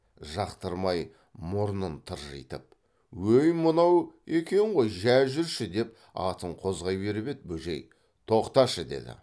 жақтырмай мұрнын тыржитып өй мынау екен ғой жә жүрші деп атын қозғай беріп еді бөжей тоқташы деді